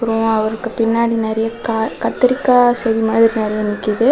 அ அவருக்கு பின்னாடி நெறய க கத்திரிக்கா செடி மாதிரி நெறய நிக்குது.